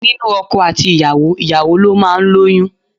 Nínú ọkọ àti ìyàwó, ìyàwó ló máa ń lóyún.